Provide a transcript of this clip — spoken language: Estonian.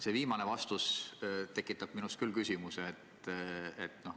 See viimane vastus tekitab minus küll küsimuse.